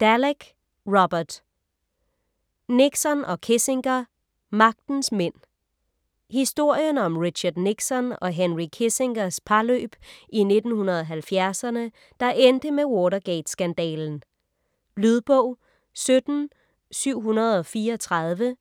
Dallek, Robert: Nixon og Kissinger: magtens mænd Historien om Richard Nixon og Henry Kissingers parløb i 1970’erne, der endte med Watergate-skandalen. Lydbog 17734